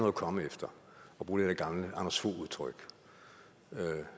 at komme efter og bruge det der gamle anders fogh udtryk